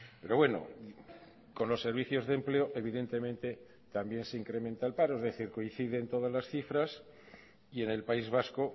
pero bueno con los servicios de empleo evidentemente también se incrementa el paro es decir coinciden todas las cifras y en el país vasco